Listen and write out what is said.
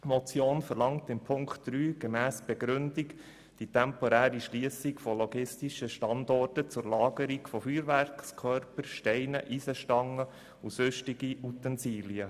Die Motion verlangt in Punkt 3 gemäss Begründung die temporäre Schliessung von logistischen Standorten zur Lagerung von Feuerwerkskörpern, Steinen, Eisenstangen und sonstigen Utensilien.